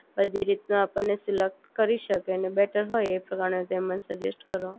જે રીતનું આપણને સિલેક્ટ કરી શકીએ અને બેટર હોય એ પ્રમાણે તેમા સજેસ્ટ કરો